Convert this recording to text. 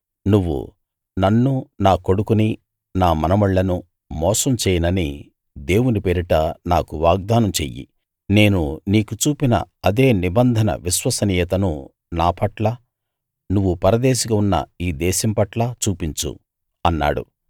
నువ్వు నన్ను నా కొడుకుని నా మనుమళ్ళను మోసం చేయనని దేవుని పేరిట నాకు వాగ్దానం చెయ్యి నేను నీకు చూపిన అదే నిబంధన విశ్వసనీయతను నా పట్లా నువ్వు పరదేశిగా ఉన్న ఈ దేశం పట్లా చూపించు అన్నాడు